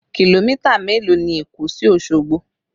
Kìlómítà mélòó ni Èkó sí Osogbo?